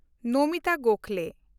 Namita Gokhale